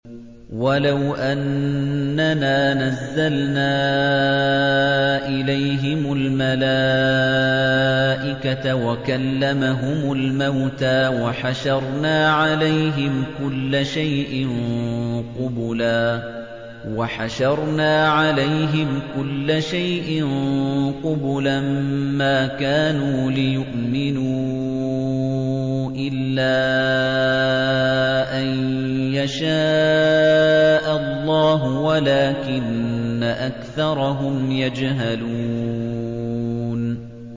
۞ وَلَوْ أَنَّنَا نَزَّلْنَا إِلَيْهِمُ الْمَلَائِكَةَ وَكَلَّمَهُمُ الْمَوْتَىٰ وَحَشَرْنَا عَلَيْهِمْ كُلَّ شَيْءٍ قُبُلًا مَّا كَانُوا لِيُؤْمِنُوا إِلَّا أَن يَشَاءَ اللَّهُ وَلَٰكِنَّ أَكْثَرَهُمْ يَجْهَلُونَ